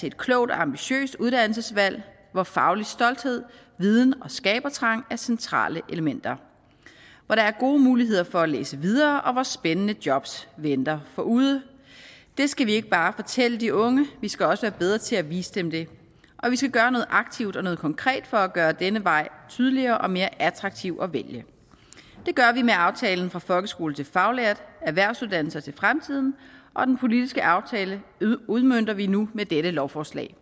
et klogt og ambitiøst uddannelsesvalg hvor faglig stolthed viden og skabertrang er centrale elementer hvor der er gode muligheder for at læse videre og hvor spændende jobs venter forude det skal vi ikke bare fortælle de unge vi skal også være bedre til at vise dem det og vi skal gøre noget aktivt og konkret for at gøre denne vej tydeligere og mere attraktiv at vælge det gør vi med aftalen fra folkeskole til faglært erhvervsuddannelser til fremtiden og den politiske aftale udmønter vi nu med dette lovforslag